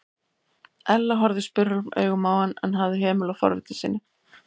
Ella horfði spurulum augum á hann en hafði hemil á forvitni sinni.